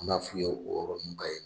An b'a f'u ye o yɔrɔnin bɛɛ yen